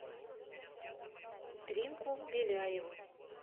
римку беляеву